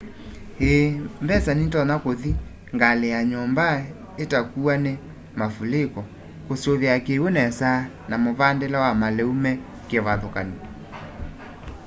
i mbesa nitonya kuthi ngali ya nyumba itakuwa ni mavuliko kusuvia kiw'u nesa na muvandile wa maliu me kivathukany'o